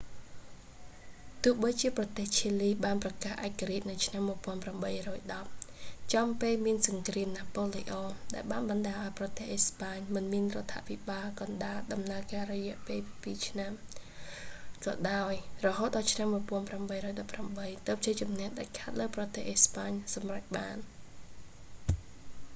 ទោះបីជាប្រទេសឈីលីបានប្រកាសឯករាជ្យនៅឆ្នាំ 1810 ចំពេលមានសង្គ្រាមណាប៉ូលេអុង ដែលបានបណ្តាលឱ្យប្រទេសអេស្បាញមិនមានរដ្ឋាភិបាលកណ្តាលដំណើរការអស់រយៈពេលពីរឆ្នាំ ក៏ដោយ រហូតដល់ឆ្នាំ 1818 ទើបជ័យជំនះដាច់ខាតលើប្រទេសអេស្ប៉ាញសម្រេចបាន